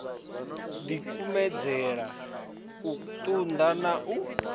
dikumedzele u tunda na u